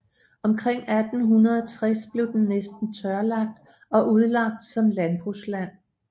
Omkring 1860 blev den næsten tørlagt og udlagt som landbrugsland